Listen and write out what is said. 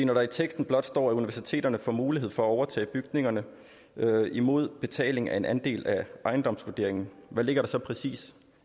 når der i teksten blot står at universiteterne får mulighed for at overtage bygningerne imod betaling af en andel af ejendomsvurderingen hvad ligger der så præcis